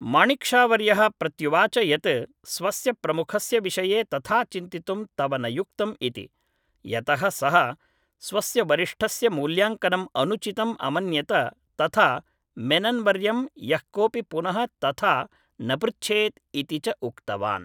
माणिक् शा वर्यः प्रत्युवाच यत् स्वस्य प्रमुखस्य विषये तथा चिन्तितुं तव न युक्तम् इति यतः सः स्वस्य वरिष्ठस्य मूल्याङ्कनम् अनुचितम् अमन्यत तथा मेनन्वर्यं यः कोपि पुनः तथा न पृच्छेत् इति च उक्तवान्